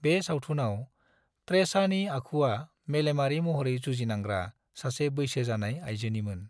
बे सावथुनाव त्रेसानि आखुआ मेलेमारि महरै जुजिनांग्रा सासे बैसो जानाय आयजोनिमोन।